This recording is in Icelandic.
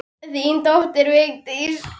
Þín dóttir, Vigdís.